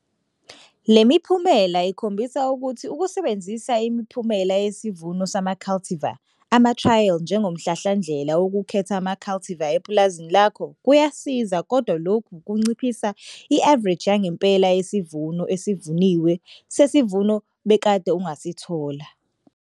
Le miphumela ikhombisa ukuthi ukusebenzisa imiphumela yesivuno sama-cultivar amatrayeli njengomhlahlandlela wokukhetha ama-cultivar epulazini lakho kuyasiza kodwa lokho kunciphisa i-avareji yangempela yesivuno esivuniwe sesivuno bekade ungasithola.